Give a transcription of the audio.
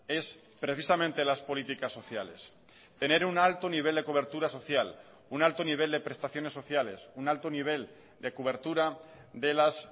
es precisamente las políticas sociales tener un alto nivel de cobertura social un alto nivel de prestaciones sociales un alto nivel de cobertura de las